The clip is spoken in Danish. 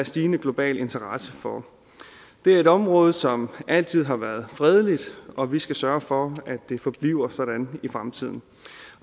stigende global interesse for det er et område som altid har været fredeligt og vi skal sørge for at det forbliver sådan i fremtiden